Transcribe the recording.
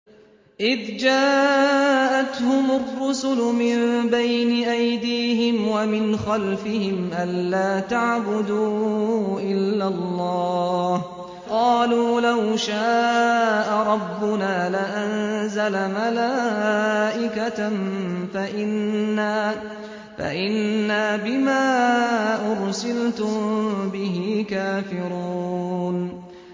إِذْ جَاءَتْهُمُ الرُّسُلُ مِن بَيْنِ أَيْدِيهِمْ وَمِنْ خَلْفِهِمْ أَلَّا تَعْبُدُوا إِلَّا اللَّهَ ۖ قَالُوا لَوْ شَاءَ رَبُّنَا لَأَنزَلَ مَلَائِكَةً فَإِنَّا بِمَا أُرْسِلْتُم بِهِ كَافِرُونَ